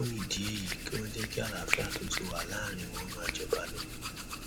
fún ìdí èyí kí wọn jẹ kí àlàáfíà tó ti wà láàrin wọn máa jọba lọ